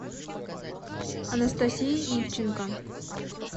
анастасии ивченко